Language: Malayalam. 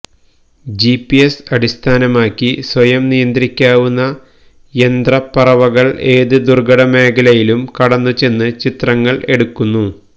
ജിപിഎസ് അടിസ്ഥാനമാക്കി സ്വയം നിയന്ത്രിക്കാനാവുന്ന യന്ത്രപ്പറവകള് ഏത് ദുര്ഘടമേഖലയിലും കടന്നുചെന്ന് ചിത്രങ്ങള് എടുക്കുന്നു